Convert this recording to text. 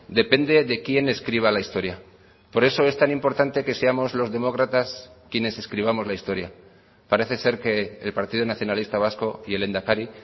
depende de quién escriba la historia por eso es tan importante que seamos los demócratas quienes escribamos la historia parece ser que el partido nacionalista vasco y el lehendakari